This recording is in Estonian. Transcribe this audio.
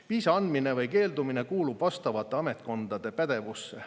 Viisa andmine või keeldumine kuulub vastavate ametkondade pädevusse.